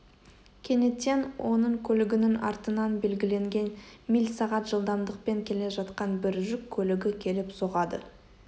кенеттен оның көлігінің артынан белгіленген мильсағат жылдамдықпен келе жатқан бір жүк көлігі келіп соғады